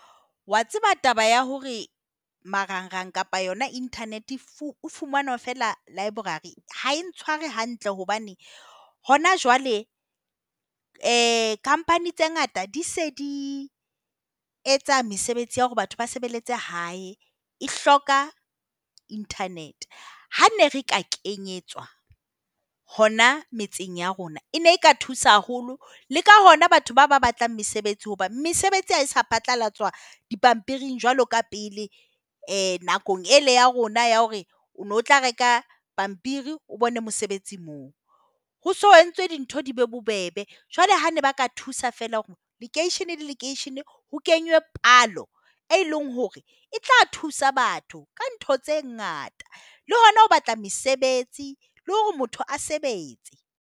Wa tseba taba ya hore marangrang kapa yona internet e fumanwa feela library ha e ntshware hantle hobane hona jwale company tse ngata di se di etsa mesebetsi ya hore batho ba sebeletse hae. E hloka Internet. Ha ne re ka kenyetswa hona metseng ya rona, e ne e ka thusa haholo. Le ka hona batho ba ba batlang mesebetsi hobane mesebetsi ha se phatlalatswa dipampiring jwalo ka pele. Nakong ela ya rona ya hore o ne o tla reka pampiri o bone mosebetsi moo. Ho se ho entswe dintho di be bobebe. Jwale ha ne ba ka thusa feela ka hore lekeishene le lekeishene ho kenywe palo, e leng hore e tla thusa batho ka ntho tse ngata. Le hona ho batla mesebetsi le hore motho a sebetse.